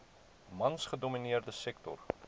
mans gedomineerde sektor